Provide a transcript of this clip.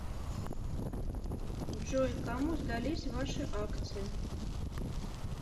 джой кому сдались ваши акции